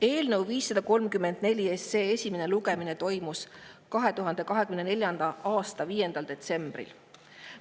Eelnõu 534 esimene lugemine toimus 2024. aasta 5. detsembril.